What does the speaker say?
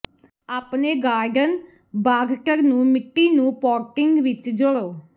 ਆਪਣੇ ਗਾਰਡਨ ਬਾਗਟਰ ਨੂੰ ਮਿੱਟੀ ਨੂੰ ਪੋਟਿੰਗ ਵਿੱਚ ਜੋੜੋ